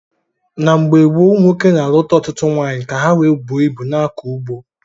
N' mgbe ochie umunwoke na aluta ọtụtụ nwaanyị ka ha wee buo ịbu na akọ ugbo..